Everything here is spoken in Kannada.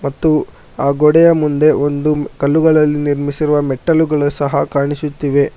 ಮತ್ತು ಆ ಗೋಡೆಯ ಮುಂದೆ ಒಂದು ಕಲ್ಲುಗಳಲ್ಲಿ ನಿರ್ಮಿಸಿರುವ ಮೆಟ್ಟಲುಗಳು ಸಹ ಕಾಣಿಸುತ್ತಿವೆ.